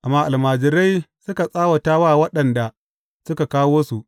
Amma almajirai suka tsawata wa waɗanda suka kawo su.